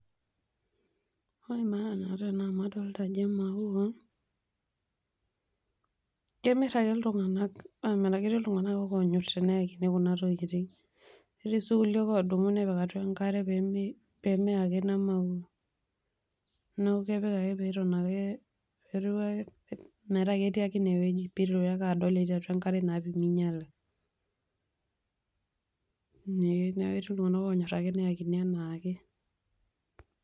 Ore maana naata ena amu adolita ajo emauai, kemirr ake iltung'anak, ketii iltung'anak oonyorr ake teneyakini kuna tokitin netii sii kulie oodumu nepik atua enkare pee meye ake ina maua. Neeku kepik ake pee eeku ketii ake metaa ketii ake ine wueji neeku kepik ake pee eitorioo adol ajo ketii ake atua enkare naa pee meinyala neeku ketii iltunganak oonyorr ake teneyakini anaake.